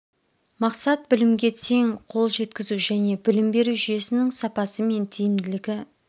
мақсат білімге тең қол жеткізу және білім беру жүйесінің сапасы мен тиімділігі